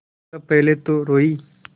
तब पहले तो रोयी